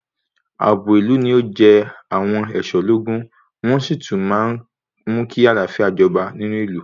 Àbò ìlú ni o jẹ àwọn ẹ̀ṣọ́ lógún ,wọ́n sí tún máa ń mú kí àlàáfíà jọba nínú ìlú.